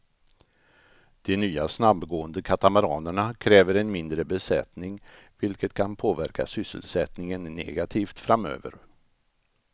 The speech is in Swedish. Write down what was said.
De nya snabbgående katamaranerna kräver en mindre besättning vilket kan påverka sysselsättningen negativt framöver.